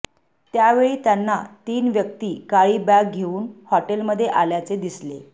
त्यावेळी त्यांना तीन व्यक्ती काळी बॅग घेऊन हॉटेलमध्ये आल्याचे दिसले